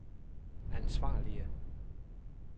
ansvarlige